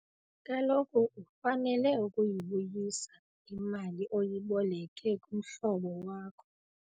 Kaloku ufanele ukuyibuyisa imali oyiboleke kumhlobo wakho.